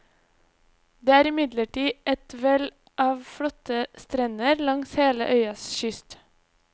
Det er imidlertid et vel av flotte strender langs hele øyas kyst.